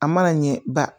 A mana ɲɛ ba